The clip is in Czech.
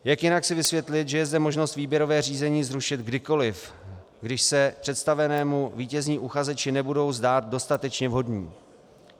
Jak jinak si vysvětlit, že je zde možnost výběrové řízení zrušit kdykoliv, když se představenému vítězní uchazeči nebudou zdát dostatečně vhodní?